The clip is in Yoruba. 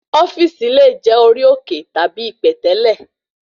ofíìsì le jẹ̀ orí òkè tàbí ipẹ̀tẹ́lẹ̀